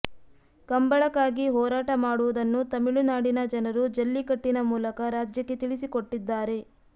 ಕಂಬಳಕ್ಕಾಗಿ ಹೋರಾಟ ಮಾಡುವುದನ್ನು ತಮಿಳುನಾಡಿನ ಜನರು ಜಲ್ಲಿಕಟ್ಟಿನ ಮೂಲಕ ರಾಜ್ಯಕ್ಕೆ ತಿಳಿಸಿಕೊಟ್ಟಿದ್ದಾರೆ